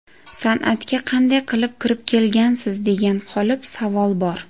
San’atga qanday qilib kirib kelgansiz, degan qolip savol bor.